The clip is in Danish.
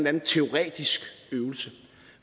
anden teoretisk øvelse